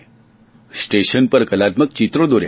station પર કલાત્મક ચિત્રો દોર્યા છે